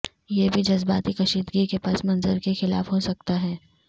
یہ بھی جذباتی کشیدگی کے پس منظر کے خلاف ہو سکتا ہے